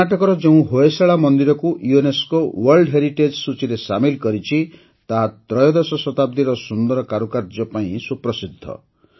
କର୍ଣ୍ଣାଟକର ଯେଉଁ ହୋଏଶାଳା ମନ୍ଦିରକୁ ୟୁନେସ୍କୋ ୱାର୍ଲଡ ହେରିଟେଜ୍ ସୂଚୀରେ ସାମିଲ୍ କରିଛି ତାହା ତ୍ରୟୋଦଶ ଶତାବ୍ଦିର ସୁନ୍ଦର କାରୁକାର୍ଯ୍ୟ ପାଇଁ ସୁପ୍ରସିଦ୍ଧ